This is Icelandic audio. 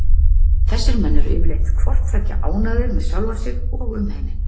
Þessir menn eru yfirleitt hvort tveggja ánægðir með sjálfa sig og umheiminn.